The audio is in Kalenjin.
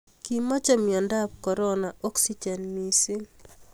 kimechei mionikab korona oksijen mising